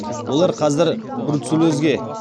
олар қазір бруцеллезге